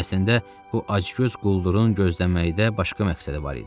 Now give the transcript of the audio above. Əslində bu acgöz quldurun gözləməkdə başqa məqsədi var idi.